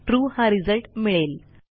trueहा result मिळेल